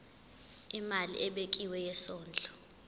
imali ebekiwe yesondlo